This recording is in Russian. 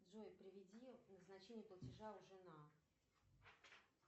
джой приведи назначение платежа жена